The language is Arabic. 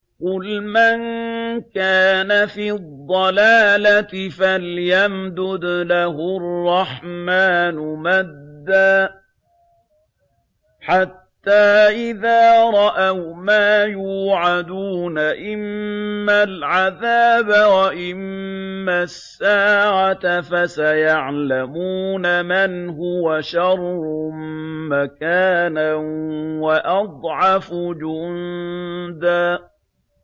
قُلْ مَن كَانَ فِي الضَّلَالَةِ فَلْيَمْدُدْ لَهُ الرَّحْمَٰنُ مَدًّا ۚ حَتَّىٰ إِذَا رَأَوْا مَا يُوعَدُونَ إِمَّا الْعَذَابَ وَإِمَّا السَّاعَةَ فَسَيَعْلَمُونَ مَنْ هُوَ شَرٌّ مَّكَانًا وَأَضْعَفُ جُندًا